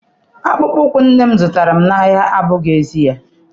Akpụkpọ ụkwụ nne m zụtara n'ahịa abụghị ezi ya.